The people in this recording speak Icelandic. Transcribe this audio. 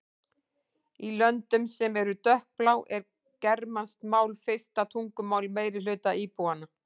Í löndum sem eru dökkblá er germanskt mál fyrsta tungumál meirihluta íbúanna.